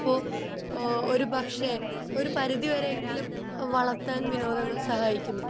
ഒരു പക്ഷെ ഒരു പരിധി വരെ എങ്കിലും വളർത്താൻ വിനോദങ്ങൾ സഹായിക്കുന്നു